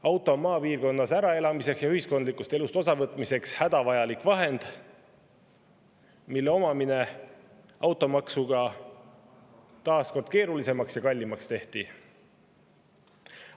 Auto on maapiirkonnas äraelamiseks ja ühiskondlikust elust osavõtmiseks hädavajalik vahend, mille omamine on automaksuga taas kord keerulisemaks ja kallimaks tehtud.